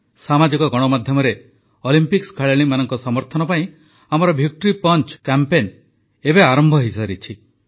ସାମାଜିକ ଗଣମାଧ୍ୟମରେ ଅଲମ୍ପିକ୍ସ ଖେଳାଳିମାନଙ୍କ ସମର୍ଥନ ପାଇଁ ଆମର ଭିକ୍ଟୋରୀ ପଞ୍ଚ କ୍ୟାମ୍ପେନ୍ ଏବେ ଆରମ୍ଭ ହୋଇସାରିଛି